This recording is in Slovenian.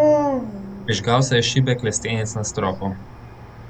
Prižgal se je šibek lestenec na stropu.